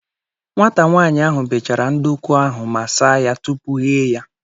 Nwata nwaanyị ahụ bechara nduku ahụ ma saa ya tupu ghee ya.